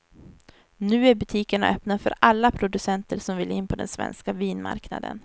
Nu är butikerna öppna för alla producenter som vill in på den svenska vinmarknaden.